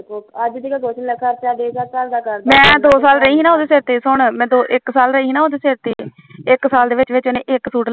ਮੈ ਦੋ ਸਾਲ ਰਹੀ ਨਾ ਉਹਦੇ ਸਿਰ ਤੇ ਸੁਣ ਇਕ ਸਾਲ ਰਹੀ ਨਾ ਇੱਕ ਸਾਲ ਦੇ ਵਿਚ ਵਿਚ ਉਹਨੇ ਇੱਕ ਸੂਟ